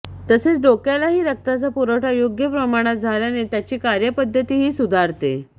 तसेच डोक्यालाही रक्ताचा पुरवठा योग्य प्रमाणात झाल्याने त्याची कार्यपद्धतीही सुधारते